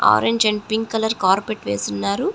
Orange and pink colour carpet వేసి ఉన్నారు.